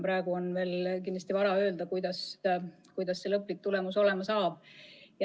Praegu on kindlasti veel vara öelda, milline see lõplik tulemus olema saab.